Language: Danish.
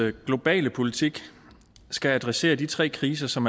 globale politik skal adressere de tre kriser som